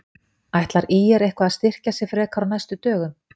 Ætlar ÍR eitthvað að styrkja sig frekar á næstu dögum?